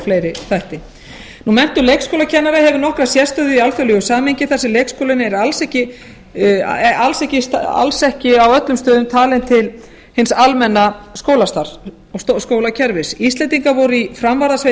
fleiri þætti menntun leikskólakennara hefur nokkra sérstöðu í alþjóðlegu samhengi þar sem leikskólinn er alls ekki á öllum stöðum talinn til hins almenna skólastarfs og skólakerfis íslendingar voru í framvarðasveit